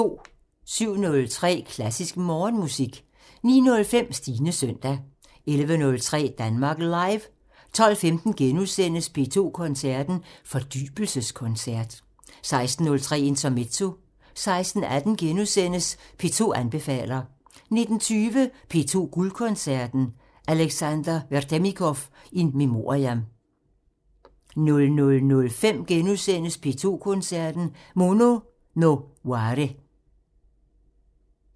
07:03: Klassisk Morgenmusik 09:05: Stines søndag 11:03: Danmark Live 12:15: P2 Koncerten – Fordybelseskoncert * 16:03: Intermezzo 16:18: P2 anbefaler * 19:20: P2 Guldkoncerten – Alexander Vedernikov in memoriam 00:05: P2 Koncerten – Mono no ware *